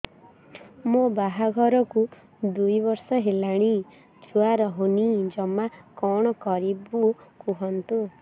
ମୋ ବାହାଘରକୁ ଦୁଇ ବର୍ଷ ହେଲାଣି ଛୁଆ ରହୁନି ଜମା କଣ କରିବୁ କୁହନ୍ତୁ